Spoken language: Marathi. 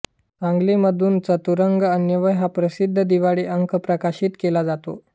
सांगली मधून चतुरंग अन्वय हा प्रसिद्ध दिवाळी अंक प्रकाशित केला जातो